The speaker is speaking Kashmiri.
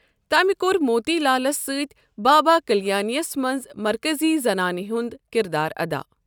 تمِہ كوٚر موتی لالس سۭتۍ بابا كلیانی یس منٛز مركزی زنانہِ ہنٛد كِردار ادا۔